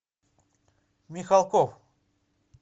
михалков